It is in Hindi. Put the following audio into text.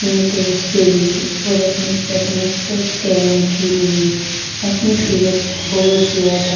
अपने देश के लिए और अपने सपने सच करने के लिए अपनी सेहत को बहुत ज्यादा --